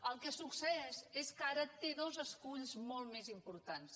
el que succeeix és que ara té dos esculls molt més importants